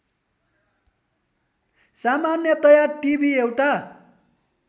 सामान्यतया टिभि एउटा